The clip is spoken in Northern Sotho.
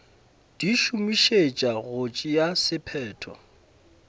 di šomišetšwa go tšea sephetho